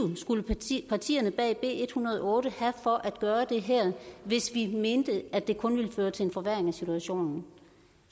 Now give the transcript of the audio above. skulle partierne bag b en hundrede og otte have for at gøre det her hvis vi mente at det kun ville føre til en forværring af situationen